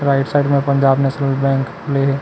Right side में Punjab National Bank खुले हे।